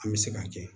An bɛ se ka kɛ